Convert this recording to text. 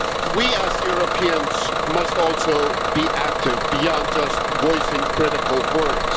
We, as Europeans, must also be active beyond just voicing critical words.